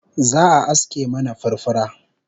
Za'a aske mana furfura